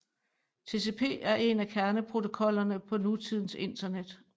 TCP er en af kerneprotokollerne på nutidens Internet